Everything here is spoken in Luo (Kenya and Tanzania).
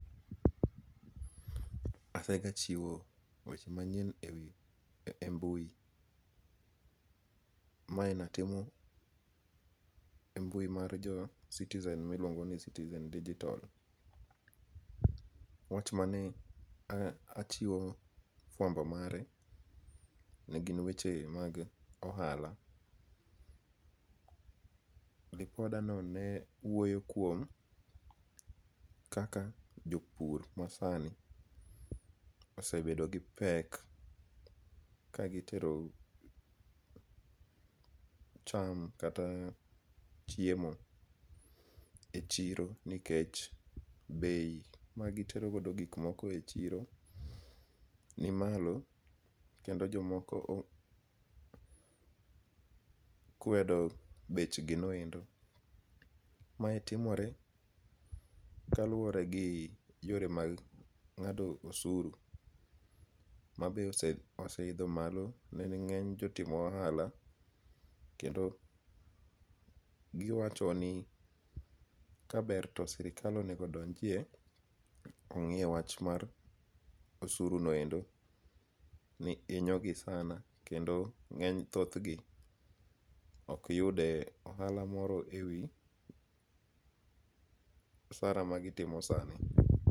Asegachiwo weche manyien e mbui, mae natimo e mbui mar jo Citizen miluongo ni Citizen digital, wach mane achiwo fuambo mare ne gin weche mag ohala, ripodanone ne wuoyo kuom kaka jopur masani osebedo gi pek kagitero cham kata chiemo e chiro nikech bei magiterogodo gik moko e chiro nimalo kendo jomoko okwedo bechginoend, mae timore kaluore gi yore mag nga'do osuru mabe ose oseitho malo ne ngeny jotimo ohala, kendo giwacho ni ka ber to serikal onigo donjie ongi'e wach mar osurunoendo ni inyogi sana kendo nge'ny thothgi ok giyude ohala moro e wi osara magitimo sani.